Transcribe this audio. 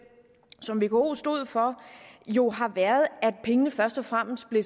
som vko stod for jo har været at pengene først og fremmest blev